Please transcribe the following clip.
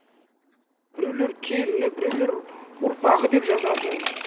біреулер келіні біреулер ұрпағы деп жазады